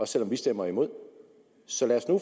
selv om vi stemmer imod så lad os nu